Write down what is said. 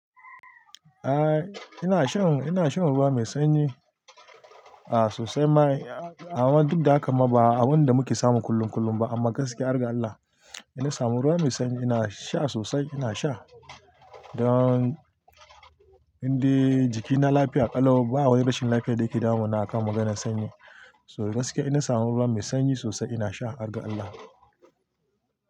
Ah ina shan, ina shan ruwa mai sanyi a sosai ma, amma duk da haka ma ba abun da muke samu kullun kullun ba amma gaskiya harga Allah ina samu ruwa mai sanyi ina sha sosai ina sha. Don inde jikina lafiya ƙalau ba wani rashin lafiyar da yake damuna akan magana sanyi. So gaskiya inna samun ruwa mai sanyi sosai ina sha, arga Allah.